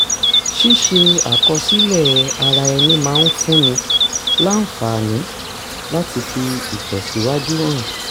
ṣíṣe àkọsílẹ̀ ara ẹni máa ń fúnni láǹfààní láti fi ìtẹ̀síwájú hàn